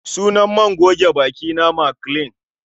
Sunan man goge bakina Maclean